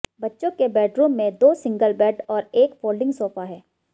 बच्चों के बेडरूम में दो सिंगल बेड और एक फोल्डिंग सोफा है